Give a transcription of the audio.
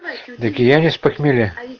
так я не с похмелья